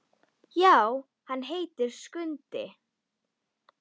Já, hann heitir Skundi.